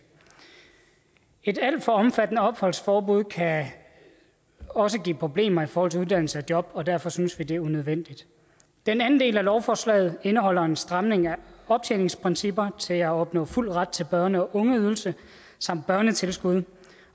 et alt for omfattende opholdsforbud kan også give problemer i forhold til uddannelse og job og derfor synes vi at det er unødvendigt den anden del af lovforslaget indeholder en stramning af optjeningsprincipper til at opnå fuld ret til børne og ungeydelse samt børnetilskud